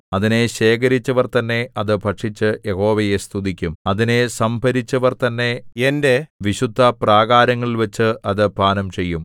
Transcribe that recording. അതിനെ ശേഖരിച്ചവർതന്നെ അത് ഭക്ഷിച്ചു യഹോവയെ സ്തുതിക്കും അതിനെ സംഭരിച്ചവർ തന്നെ എന്റെ വിശുദ്ധപ്രാകാരങ്ങളിൽവച്ച് അത് പാനംചെയ്യും